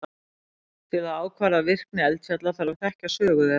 Til að ákvarða virkni eldfjalla þarf að þekkja sögu þeirra.